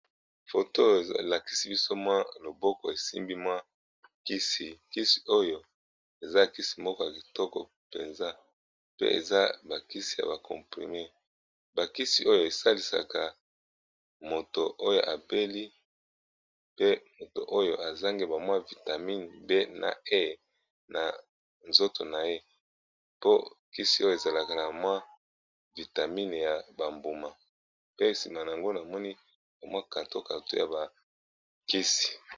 Foto elakisi biso mwa loboko esimbi mwa kisi kisi oyo eza kisi moko ya kitoko mpenza pe eza ba kisi ya ba comprime ba kisi oyo esalisaka moto oyo abeli pe moto oyo azangi ba mwa vitamine B na E na nzoto na ye po kisi oyo ezalaka na mwa vitamine ya ba mbuma pe nsima na yango na moni ba mwa karton karton ya ba kisi.